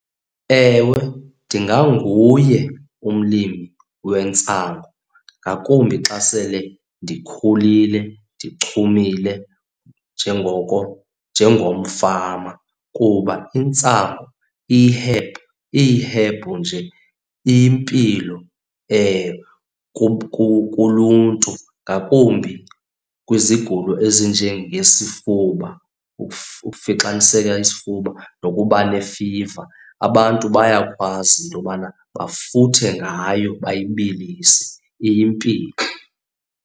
Ewe, ndinganguye umlimi wentsango ngakumbi xa sele ndikhulile, ndichumile njengoko njengomfama kuba intsangu iyihebhu. Iyihebhu nje, impilo kuluntu ngakumbi kwizigulo ezinje ngesifuba, ukufixaniseka isifuba nokuba nefiva, abantu bayakwazi into yobana bafuthe ngayo, bayibilise iyimpilo.